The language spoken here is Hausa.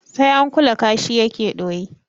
Sai an kula kashi yake ɗoyi